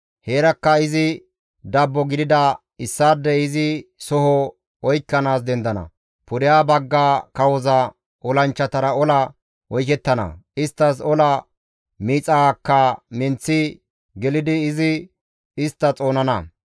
«Heerakka izi dabbo gidida issaadey izi soho oykkanaas dendana; pudeha bagga kawoza olanchchatara ola oykettana; isttas ola miixaakka menththi gelidi izi istta xoonana.